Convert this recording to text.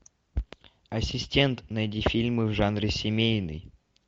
ассистент найди фильмы в жанре семейный